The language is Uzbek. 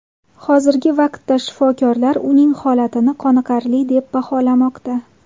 Hozirgi vaqtda shifokorlar uning holatini qoniqarli deb baholamoqda.